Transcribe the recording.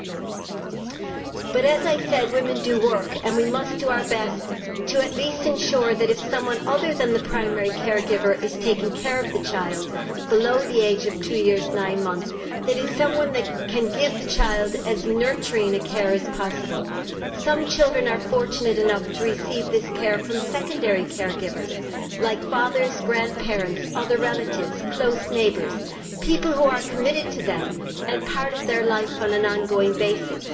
However, as I said, women work, and we must do our best to at least ensure that if someone other than the primary care giver is taking care of the child below the age of two years nine months, that it is someone who can give the child as nurturing a care as possible. Some children are fortunate enough to receive this care from secondary care givers like fathers, grandparents, other relatives, close neighbours people who are committed to them and part of their life on an ongoing basis.